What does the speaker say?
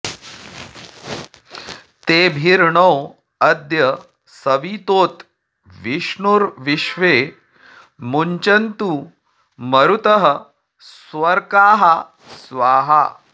तेभिर्नो अद्य सवितोत विष्णुर्विश्वे मुञ्चन्तु मरुतः स्वर्काः स्वाहा